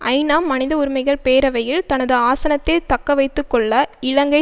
ஐநா மனித உரிமைகள் பேரவையில் தனது ஆசனத்தை தக்கவைத்து கொள்ள இலங்கை